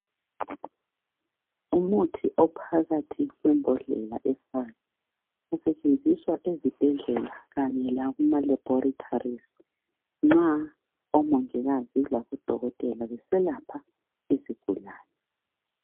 Umuthi ophakathi kwembodlela efayo , usetshenziswa ezibhedlela Kanye lakuma laboratories nxa omongikazi labodokotela beselapha izigulane.